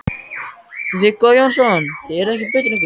Viggó Jónsson: Þið eruð ekkert blautir?